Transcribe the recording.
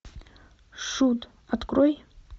шут открой